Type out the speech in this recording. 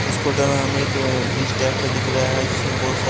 इस फोटो में हमें एक ब्रिज टाइप का दिख रहा हैं जिसमें बहुत सा--